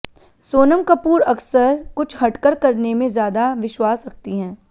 सोनम कपूर अक्सर कुछ हटकर करने में ज्यादा विश्वास रखती हैं